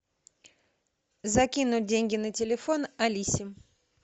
закинуть деньги на телефон алисе